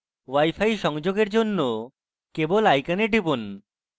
wifi সংযোগের জন্য কেবল icon টিপুন